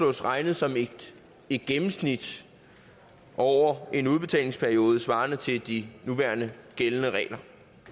regnet som et gennemsnit over en udbetalingsperiode svarende til de nuværende gældende regler